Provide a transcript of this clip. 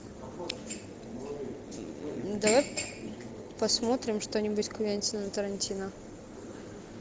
давай посмотрим что нибудь квентина тарантино